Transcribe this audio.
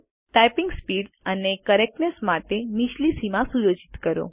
typing speed અને correctness માટે નીચલી સીમા સુયોજિત કરો